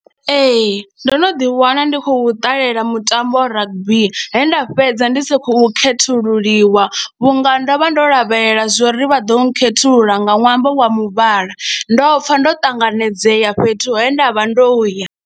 Ee, ndo no ḓiwana ndi khou ṱalela mutambo wa rugby, he nda fhedza ndi sa khou khethululiwa vhunga ndo vha ndo lavhelela zwo ri vha ḓo khethulula nga ṅwambo wa muvhala, ndo pfa ndo ṱanganedzea fhethu he ndav ha ndo ya.